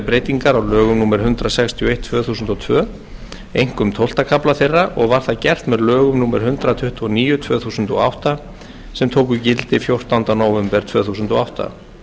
breytingar á lögum númer hundrað sextíu og eitt tvö þúsund og tvö einkum tólfta kafla þeirra og var það gert með lögum númer hundrað tuttugu og níu tvö þúsund og átta sem tóku gildi fjórtánda nóvember tvö þúsund og átta